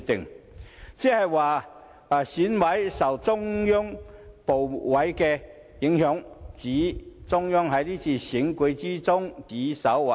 "換言之，就是說選委受中央部委影響，指中央在這次選舉中指手劃腳。